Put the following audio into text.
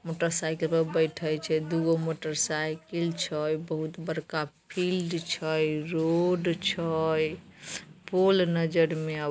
Motor cycle पर बैठे छै। दू गो मोटर साइकिल छै। बहुत बड़का फील्ड छै रोड छै पोल नजर में --